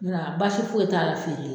basi foyi e t'a la feere la.